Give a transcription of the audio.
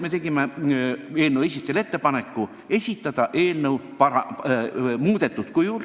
Me tegime eelnõu algatajale ettepaneku esitada eelnõu muudetud kujul.